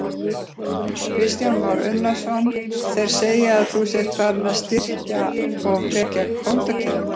Kristján Már Unnarsson: Þeir segja að þú sért farinn að styrkja og verkja kvótakerfið?